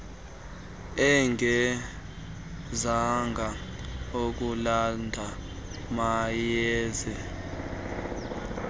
engezanga kulanda mayeza